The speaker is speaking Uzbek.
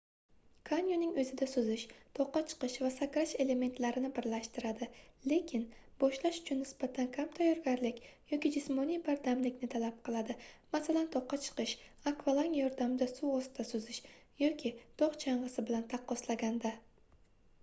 kanyoning o'zida suzish toqqa chiqish va sakrash elementlarini birlashtiradi — lekin boshlash uchun nisbatan kam tayyorgarlik yoki jismoniy bardamlikni talab qiladi masalan toqqa chiqish akvalang yordamida suv ostida suzish yoki tog' chang'isi bilan taqqoslaganda